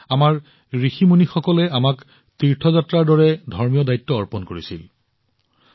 সেয়েহে আমাৰ ঋষি আৰু মুনিসকলে আমাক তীৰ্থযাত্ৰাৰ দৰে ধৰ্মীয় দায়িত্ব অৰ্পণ কৰিছিল